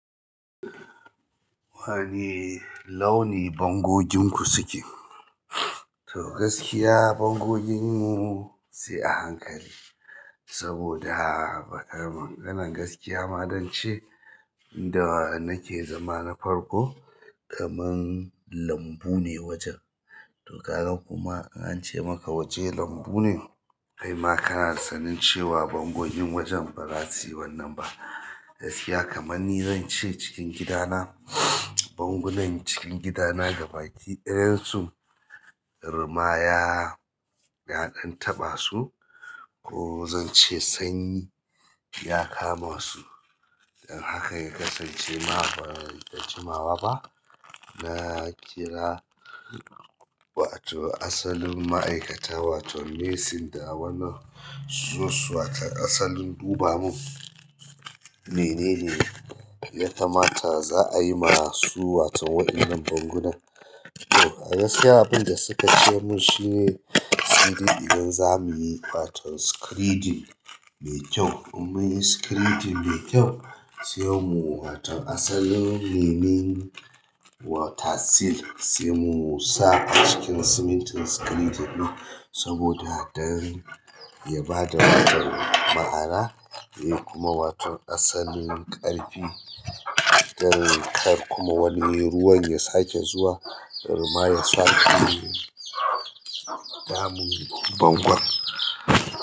Wane launi bangoginku suke? To gaskiya bangoginmu sai a hankali saboda bakar, maganan gaskiya ma, don ce inda nake zama na farko kaman lambu ne wajen. To kaga kuma in ace maka waje lambu ne, kai ma kana sanin cewa bangogin wajen ba za su yi wannan ba. Gaskiya kamar ni zan ce cikin gidana, bangunan cikin gidana gaba ki ɗayan su ruma ya ɗan taɓa su ko zan ce sanyi ya kama su. Don haka ya kasance ma ba da jimawa ba. Na kira wato asalun ma'aikata wato messing da wannan su zo wato asalin duba mu. Mene ne ya kamata za a yi ma su wato wa'innan bangunan. To gaskiya abinda suka ce min shine sai dai idan zamuyi waton screeding mai kyau in munyi screeding mai kyau sai mu wato asalin nemi. Wata seal se mu sa a cikin simintin screening ɗin saboda don ya ba da wato ma'ana kuma wato asalin ƙarfi don kar kuma wani ruwan ya sake zuwa ruma ya sake damun bangon.